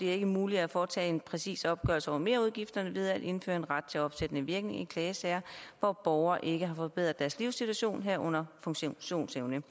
er muligt at foretage en præcis opgørelse over merudgifterne ved at indføre en ret til opsættende virkning i klagesager hvor borgere ikke har forbedret deres livssituation herunder funktionsevne